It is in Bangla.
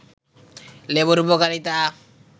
লেবুর উপকারিতা